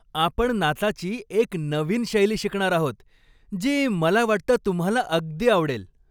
आपण नाचाची एक नवीन शैली शिकणार आहोत, जी मला वाटतं तुम्हाला अगदी आवडेल.